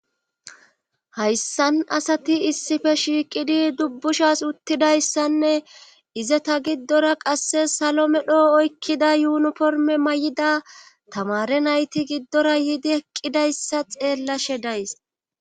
Hayssan asati issife shiiqidi dubbushas uttidayssanne ize ta giddora qasse salo medho oykkida yuunuporme may7ida tamare nayti giddora yiidi eqqidayssa xeellashe days.